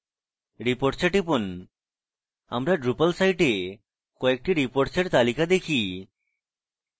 reports we টিপুন আমরা drupal site we কয়েকটি reports তালিকা দেখি